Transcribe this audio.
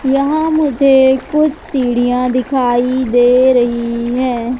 यहां मुझे कुछ सीढ़ियां दिखाई दे रही है।